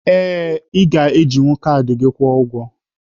Ee, ị ga-ejinwu kaadị kwụọ ụgwọ.